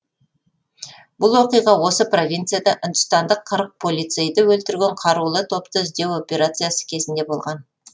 бұл оқиға осы провинцияда үндістандық қырық полицейді өлтірген қарулы топты іздеу операциясы кезінде болған